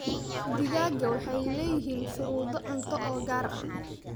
Digaagga waxay leeyihiin shuruudo cunto oo gaar ah.